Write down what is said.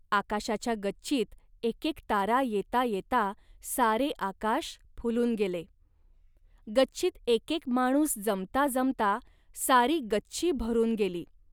आकाशाच्या गच्चीत एकेक तारा येता येता सारे आकाश फुलून गेले. गच्चीत एकेक माणूस जमता जमता सारी गच्ची भरून गेली